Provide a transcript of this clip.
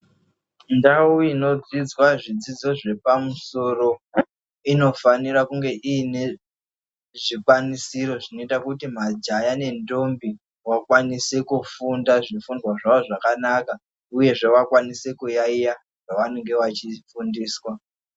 Ndau inodzidzwa zvidzidzo zvepamusoro inofanira kunge iine zvikwanisiro zvinoita kuti majaya nendombi wakwanise kufunda zvifundwa zvawo zvakanaka uye zvee wakwanise kuyaiya zvawanenge wachifundiswa.